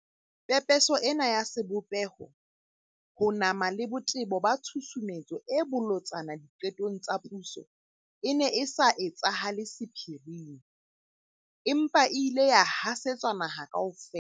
Pepeso ena ya sebopeho, ho nama le botebo ba tshusumetso e bolotsana diqetong tsa puso e ne e sa etsahale sephiring, empa e ile ya hasetswa naha kaofela.